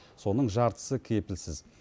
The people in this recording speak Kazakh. соның жартысы кепілсіз